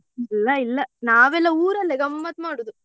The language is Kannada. ಇಲ್ಲ ಇಲ್ಲ ನಾವೆಲ್ಲ ಊರಲ್ಲೆ ಗಮ್ಮತ್ ಮಾಡುದು.